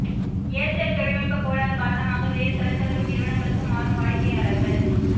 Aircel தொழில்நுட்ப கோளாறு காரணமாக வேறு தொலைதொர்பு நிறுவனங்களுக்கு மாறும் வாடிக்கையாளர்கள்